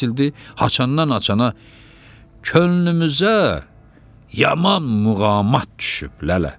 açandan açana könlümüzə yaman muğamat düşüb lələ.